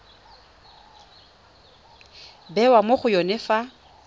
bewa mo go yone fa